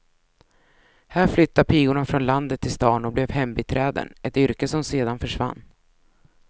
Här flyttade pigorna från landet till stan och blev hembiträden, ett yrke som sedan försvann.